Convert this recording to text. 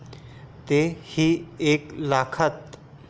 ती ही एक लाखात.